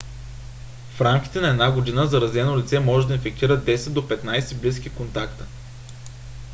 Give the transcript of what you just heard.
в рамките на една година заразено лице може да инфектира 10 до 15 близки контакта